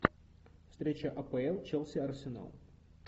встреча апл челси арсенал